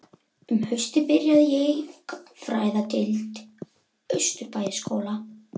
Um haustið byrjaði ég í Gagnfræðadeild Austurbæjarskóla.